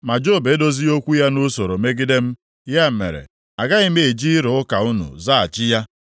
Ma Job edozighị okwu ya nʼusoro megide m, ya mere agaghị m eji ịrụ ụka unu zaghachi ya.